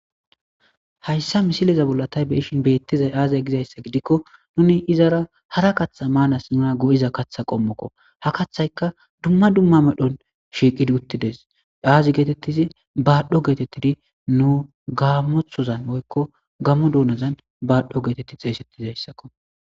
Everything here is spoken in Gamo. Hayssa misileza bollatay beishin beettizay aazay gizayssa gidikko nuni izara hara katha maanas nuna go7iza katha qommokko ha kathayka dumma dumma medhon shiiqidi uttides aazi geetettizi baadho geetettidi nu gaamothozan woykko gamo duunozan baadho geetetti xeeysettizayssakko.